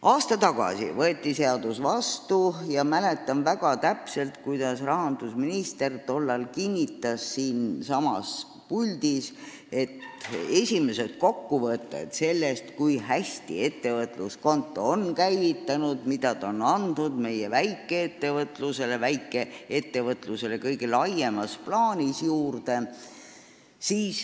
Aasta tagasi võeti seadus vastu ja ma mäletan väga täpselt, kuidas rahandusminister tollal siinsamas puldis kinnitas, et juuniks saame esimesed kokkuvõtted sellest, kui hästi on ettevõtluskonto käivitunud, mida see on andnud juurde meie väikeettevõtlusele kõige laiemas plaanis.